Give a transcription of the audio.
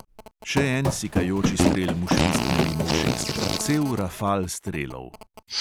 Še en sikajoči strel mu švistne mimo ušes, cel rafal strelov.